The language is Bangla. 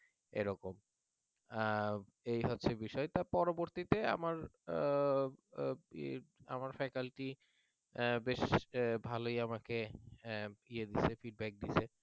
এরকম এই হচ্ছে বিষয় তো পরবর্তীতে আমার faculty বেশ ভালই আমাকে feedback দিয়েছে